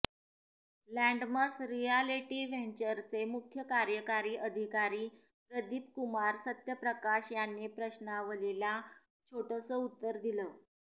लँडमस realty व्हेंचरचे मुख्य कार्यकारी अधिकारी प्रदीप कुमार सत्यप्रकाश यांनी प्रश्नावलीला छोटंसं उत्तर दिलं